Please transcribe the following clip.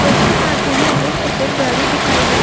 और उसके पास में ही और एक सफ़ेद गाड़ी दिखाई दे--